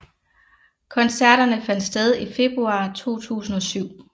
Koncerterne fandt sted i februar 2007